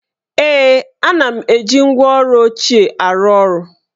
Ee, ana m eji ngwá ọrụ ochie arụ ọrụ